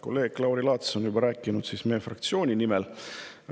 Kolleeg Lauri Laats on juba rääkinud meie fraktsiooni nimel.